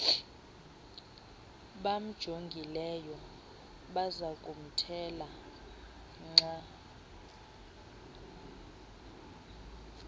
bamjongileyo bazakumthela nkqa